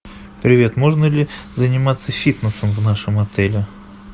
привет можно ли заниматься фитнесом в нашем отеле